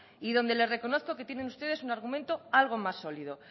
y donde les reconozco que tienen ustedes un argumento algo más sólido